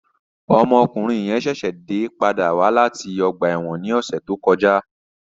Ọmọkunrin yẹn ṣẹṣẹ pada wa lati ọgba ẹ́wọ̀n ni ọsẹ to kọja